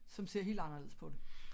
Som ser helt anderledes på det